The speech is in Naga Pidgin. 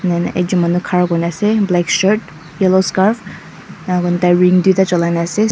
ena ne ekjon manu khara kuri ne ase black shirt yellow scarf ena koi ne tai ring tuita chulai ne ase.